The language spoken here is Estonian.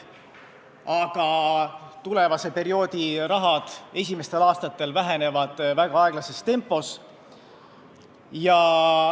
Aga järgmise perioodi summad esimestel aastatel vähenevad väga aeglases tempos.